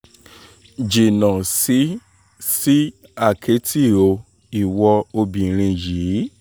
jìnnà sí sí àkẹ́tì o ìwo obìnrin yìí